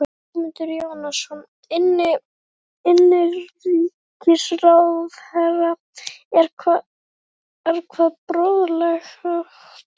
Ögmundur Jónasson, innanríkisráðherra: Er hvað boðlegt?